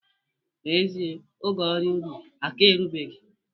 N'ezie, oge ọrụ ubi aka erubeghị